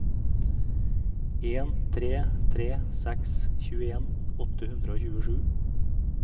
en tre tre seks tjueen åtte hundre og tjuesju